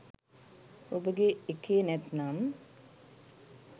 ඔබගේ එකේ නැත්නම්